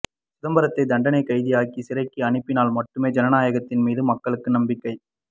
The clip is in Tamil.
சிதம்பரத்தை தண்டனைக் கைதியாக்கி சிறைக்கு அனுப்பினால் மட்டுமே ஜனநாயகத்தின் மீது மக்களுக்கு நம்பிக்கை